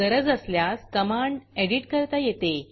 गरज असल्यास command edit करता येते